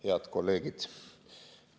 Head kolleegid!